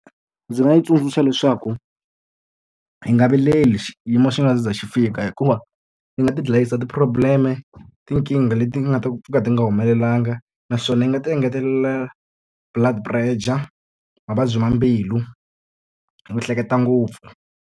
Ndzi nga yi tsundzuxa leswaku yi nga vileli xiyimo xi nga za xi fika hikuva yi nga ti dlayisa ti-problem-e, tinkingha leti nga ta pfuka ti nga humelelanga. Naswona yi nga ti engetelela blood pressure, mavabyi ma mbilu hi ku hleketa ngopfu.